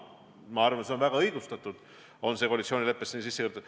Ma arvan, et see punkt on väga õigustatult koalitsioonileppesse sisse kirjutatud.